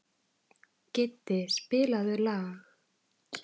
Kiddi, spilaðu lag.